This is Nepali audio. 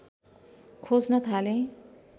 खोज्न थालेँ